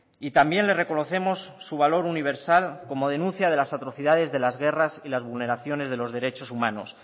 y también le reconocemos su valor universal como denuncia de las atrocidades de las guerras y las vulneraciones de los derechos humanos